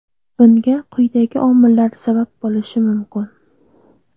Bunga quyidagi omillar sabab bo‘lishi mumkin.